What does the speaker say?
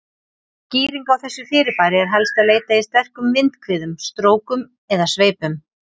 Skýringa á þessu fyrirbæri er helst að leita í sterkum vindhviðum, strókum eða sveipum.